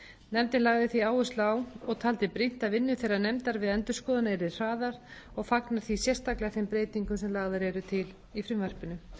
nefndin lagði því áherslu á og taldi brýnt að vinnu þeirrar nefndar við endurskoðunina yrði hraðað og fagnar því sérstaklega þeim breytingum sem lagðar eru til í frumvarpinu